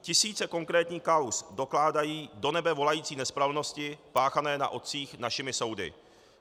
Tisíce konkrétních kauz dokládají do nebe volající nespravedlnosti páchané na otcích našimi soudy.